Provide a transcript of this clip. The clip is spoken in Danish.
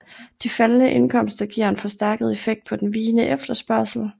De faldende indkomster giver en forstærket effekt på den vigende efterspørgsel